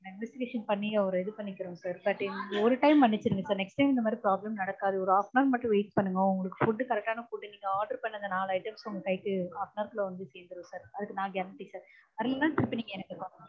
நான் Investigation பண்ணி அவர இது பண்ணிக்கிறோம் sir but இந்த ஒரு time மன்னிச்சிடுங்க sir next time இந்த மாதிரி problem நடக்காது. ஒரு half an hour மட்டும் wait பண்ணுங்க உங்களுக்கு food correct ஆன food நீங்க order பண்ண அந்த நாலு items உங்க கைக்கு half an hour குல்ல வந்து சேர்ந்திடும் sir அதுக்கு நான் guarantee sir வரலைனா திருப்பி நீங்க எனக்கு call பண்ணுங்க.